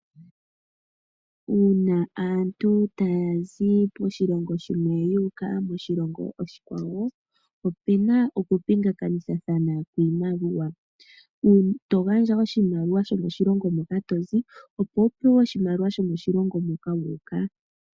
Uuna aantu taya zi moshilongo shimwe yu uka moshilongo oshikwawo, opu na okupingathanitha iimaliwa. To gandja oshimaliwa shomoshilongo moka to zi, opo wu pewe oshimaliwa shomoshilongo moka wu uka.